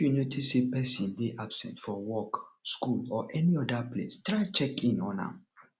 if you notice say persin de absent for work school or any other place try check in on am